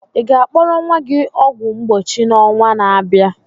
Ị ga akpọrọ nwa gị ọgwụ mgbochi n'ọnwa na abịa?